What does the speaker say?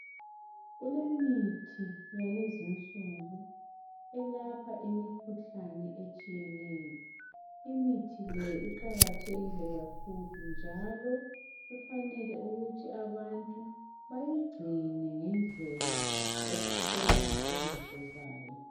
kulemithi yakulezi nsuku elapha imikhuhlane etshiyeneyo imithi leyi iqakathekile kakhulu njalo kufanele ukuthi abantu bayigcine ngendlela eleziqondiso zayo